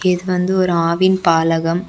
இது வந்து ஒரு ஆவின் பாலகம்.